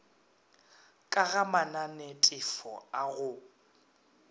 ka ga mananetefo a go